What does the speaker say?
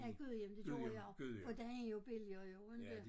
Ja Gudhjem det gjorde jeg for den er jo billigere jo inte